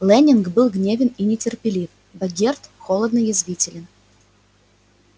лэннинг был гневен и нетерпелив богерт холодно язвителен